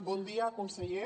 bon dia conseller